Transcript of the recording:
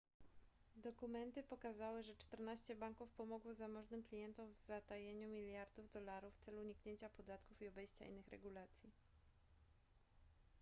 dokumenty pokazały że czternaście banków pomogło zamożnym klientom w zatajeniu miliardów dolarów w celu uniknięcia podatków i obejścia innych regulacji